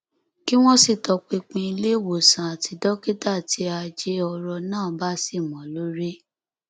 kí wọn sì tọpinpin ilé ìwòsàn àti dókítà tí ajé ọrọ náà bá ṣì mọ lórí